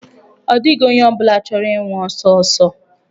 Ọ dịghị onye ọ bụla chọrọ ịnwụ ọsọ ọsọ.